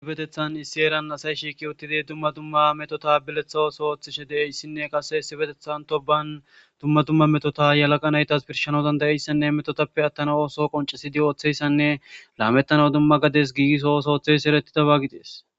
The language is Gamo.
isi betethan issi eeran asay shiiki uttidi dumma dumma metota bileththa ooso ooththishe deeyssinne qase essi betethan to ban dumma dumma metota yalaqa naytas birshana dandayeyssanne metotappe attana ooso qoncesidi ooththeyssanne laamettana dumma gades giiso oso oththeys eretidaba gidees